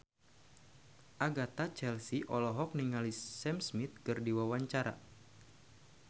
Agatha Chelsea olohok ningali Sam Smith keur diwawancara